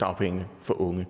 dagpengene for unge